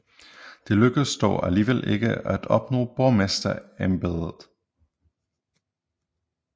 Det lykkedes dog alligevel ikke at opnå borgmesterembedet